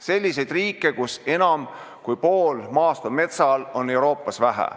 Selliseid riike, kus enam kui pool maast on metsa all, on Euroopas vähe.